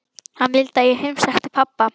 Hann vildi að ég heimsækti pabba.